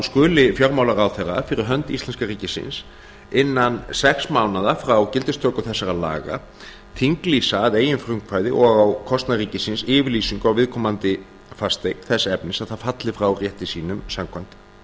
skuli fjármálaráðherra fyrir hönd íslenska ríkisins innan sex mánaða frá gildistöku þessara laga þinglýsa að eigin frumkvæði og á kostnað ríkisins yfirlýsingu á viðkomandi fasteign þess efnis að það falli frá rétti sínum samkvæmt